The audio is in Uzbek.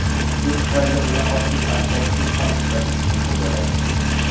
Shu tufayli uni optik asbobsiz ham kuzatish mumkin bo‘ladi.